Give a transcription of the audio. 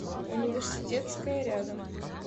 университетская рядом